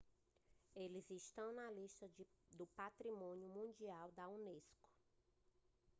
eles estão na lista do patrimônio mundial da unesco